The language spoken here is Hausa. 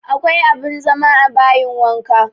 Akwa abin zama a bayin wanka